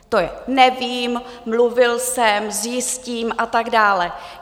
To je: Nevím, mluvil jsem, zjistím a tak dále.